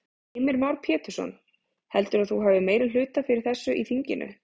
Heimir Már Pétursson: Heldurðu að þú hafi meirihluta fyrir þessu í þinginu?